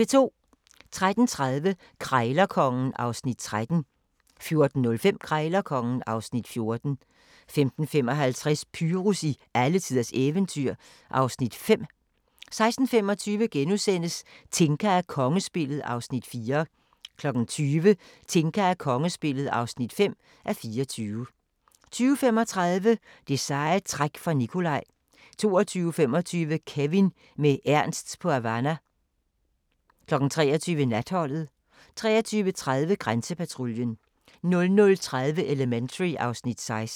13:30: Krejlerkongen (Afs. 13) 14:05: Krejlerkongen (Afs. 14) 15:55: Pyrus i alletiders eventyr (Afs. 5) 16:25: Tinka og kongespillet (4:24)* 20:00: Tinka og kongespillet (5:24) 20:35: Det seje træk for Nicolai 22:25: Kevin med Emil på Havana 23:00: Natholdet 23:30: Grænsepatruljen 00:30: Elementary (Afs. 16)